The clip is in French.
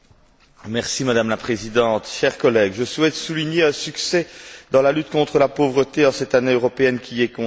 Madame la Présidente, chers collègues, je souhaite souligner un succès dans la lutte contre la pauvreté en cette année européenne qui lui est consacrée.